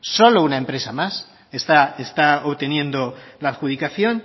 solo una empresa más está obteniendo la adjudicación